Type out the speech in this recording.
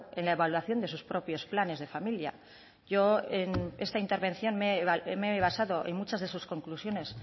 en la evaluación de sus propios planes de familia yo en esta intervención me he basado en muchas de sus conclusiones